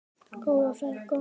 Góða ferð, góða nótt.